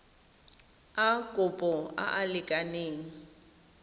a kopo a a lekaneng